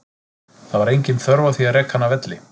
Það var engin þörf á því að reka hann af velli.